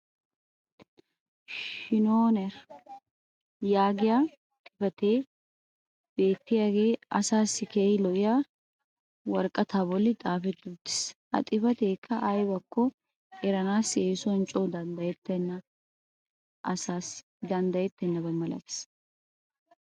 "Skinnoner" yaagiya xifatee beettiyaagee asaassi keehi lo'iya woraqataa boli xaafetti uttiis. Ha xifateekka aybakko eranaassi eessuwan coo danddayettenaba asaassi malatees.